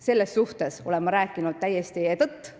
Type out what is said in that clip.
Selles suhtes olen ma rääkinud täiesti tõtt.